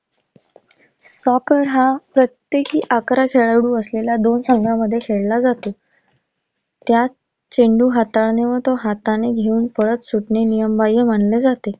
soccer हा प्रत्येकी अकरा खेळाडू असलेला दोन संघांमध्ये खेळला जातो. त्यात चेंडू हाताने व तो हाताने घेऊन पळत सुटणे नियमबाह्य मानले जाते.